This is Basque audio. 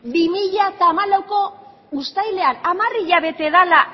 bi mila hamalaueko uztailean hamar hilabete dela